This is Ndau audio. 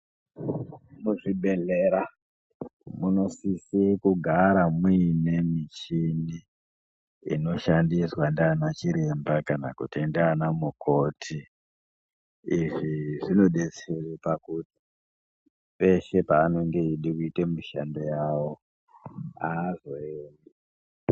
Muzvibhedhlera munosise kugara muine michini inoshandiswa ndianachiremba kana kuti ndianamukoti. Izvi zvinodetsere pakuti peshe paanenge eide kuite mushando yawo haazo....